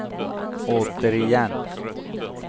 återigen